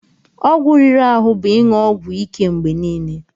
Ọgwụ riri ahụ bụ ịṅụ ọgwụ ike mgbe niile.